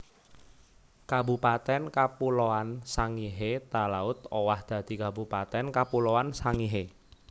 Kabupatèn Kapuloan Sangihe Talaud owah dadi Kabupatèn Kapuloan Sangihe